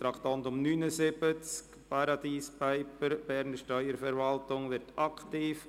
Traktandum 79, «‹Paradise Papers› – Berner Steuerverwaltung wird aktiv!».